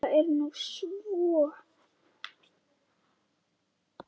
Það er nú svona.